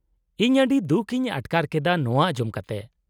-ᱤᱧ ᱟᱹᱰᱤ ᱫᱩᱠ ᱤᱧ ᱟᱴᱠᱟᱨ ᱠᱮᱫᱟ ᱱᱚᱶᱟ ᱟᱸᱡᱚᱢ ᱠᱟᱛᱮ ᱾